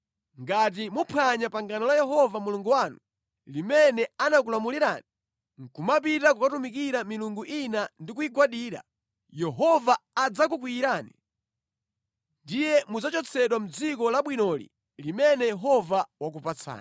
Ngati muphwanya pangano la Yehova Mulungu wanu, limene anakulamulirani nʼkumapita kukatumikira milungu ina ndi kuyigwadira, Yehova adzakukwiyirani, ndiye mudzachotsedwa mʼdziko labwinoli limene Yehova wakupatsani.”